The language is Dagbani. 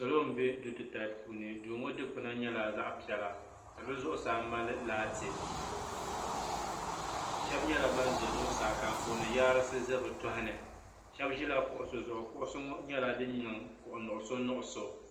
Salo n bɛ duu titali puuni duu ŋɔ dikpuna nyɛla zaɣa piɛla ka di zuɣusaa mali laati shɛba nyɛla ban za zuɣusaa ka anfooni yaarisi za bi tohini shɛba ʒila kuɣusi zuɣu kuɣusi nyɛla din niŋ kuɣu nuɣusu nuɣusu.